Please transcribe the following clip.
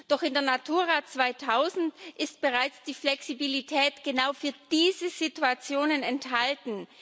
Doch in der Natura 2000 ist bereits die Flexibilität genau für diese Situationen enthalten.